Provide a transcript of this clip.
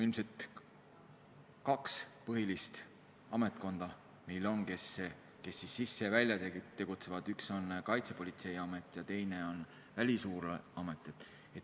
Ilmselt on meil kaks põhilist ametkonda, kes selles valdkonnas tegutsevad: üks on Kaitsepolitseiamet ja teine on Välisluureamet.